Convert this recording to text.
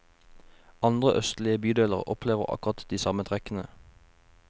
Andre østlige bydeler opplever akkurat de samme trekkene.